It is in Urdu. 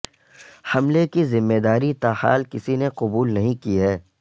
حملے کی ذمے داری تاحال کسی نے قبول نہیں کی ہے